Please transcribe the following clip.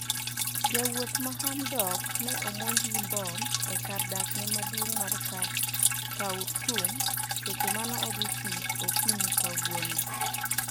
Jawuoth ma hamdok ne omonj gi bom e kar dak maduong mar Khaurtum seche mane odhi tich okinyi kawuono.